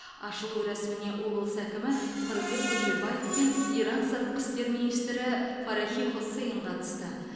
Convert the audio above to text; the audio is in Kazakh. ашылу рәсіміне облыс әкімі қырымбек көшербаев пен иран сыртқы істер министрі фарахи хоссейн қатысты